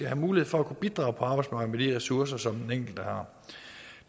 have mulighed for at kunne bidrage på arbejdsmarkedet med de ressourcer som den enkelte har